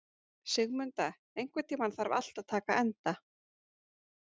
Sigmunda, einhvern tímann þarf allt að taka enda.